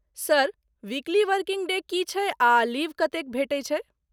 Sir ,weekly working day की छै आ लीव कतेक भेटै छै?